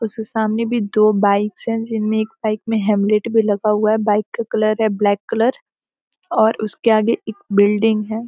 उसके सामने भी दो बाइक्स है जिनमें एक बाइक मे हेमलेट भी लगा हुआ है बाइक का कलर है ब्लैक कलर और उसके आगे एक बिल्डिंग है।